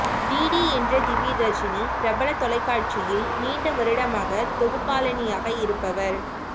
DD என்ற திவ்ய தர்ஷினி பிரபல தொலைக்காட்சியில் நீண்ட வருடமாக தொகுப்பாளினியாக இருப்பவர்